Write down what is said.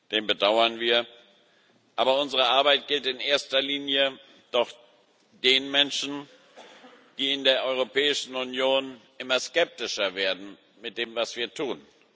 Den bedauern wir, aber unsere Arbeit gilt in erster Linie doch den Menschen, die in der Europäischen Union immer skeptischer werden mit dem, was wir tun.